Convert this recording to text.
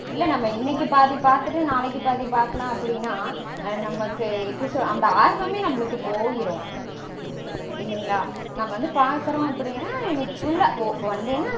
இல்ல நம்ம இன்னைக்கு பாதி பாத்துட்டு நாளைக்கு பாதி பாக்கலாம் அப்படீனா நமக்கு எப்படி சொல்றது அந்த ஆர்வமே நம்மளுக்கு போயிரும் இல்லைங்களா?